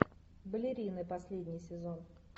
балерины последний сезон